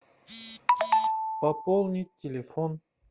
пополнить телефон